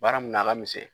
Baara mun na a ka misɛn